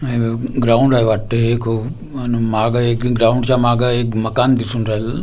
ground आहे वाटतंय एक अन मागं एक ग्राउंडचा मागं एक मकान दिसून राहिलेलं --